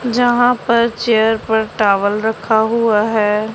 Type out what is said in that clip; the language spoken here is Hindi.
जहां पर चेयर पर टॉवल रखा हुआ हैं।